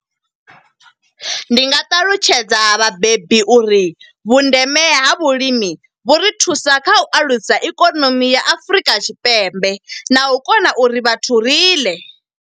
Ndi nga ṱalutshedza vhabebi uri vhundeme ha vhulimi, vhu ri thusa kha u alusa ikonomi ya Afurika Tshipembe na u kona uri vhathu ri ḽe.